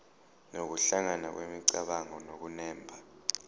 nokuhlangana kwemicabango nokunemba